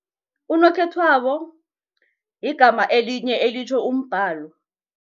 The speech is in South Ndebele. Unokhethwako ligama elinye elitjho umbhalo.